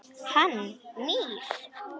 Hann nýr.